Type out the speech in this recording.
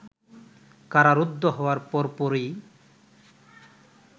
কারারুদ্ধ হওয়ার পরপরই